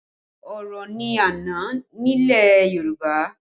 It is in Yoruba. Oro ni àna nílẹ̀ Yorùbá